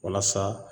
Walasa